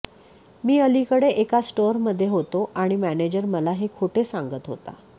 मी अलीकडे एका स्टोअरमध्ये होतो आणि मॅनेजर मला हे खोटे सांगत होता